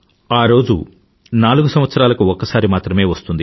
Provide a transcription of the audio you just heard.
ఈ రోజు నాలుగు సంవత్సరాలకు ఒక్కసారి మాత్రమే వస్తుంది